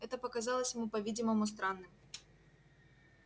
это показалось ему по-видимому странным